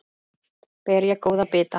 Ber ég góða bita.